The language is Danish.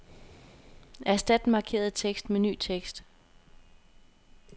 Erstat den markerede tekst med ny tekst.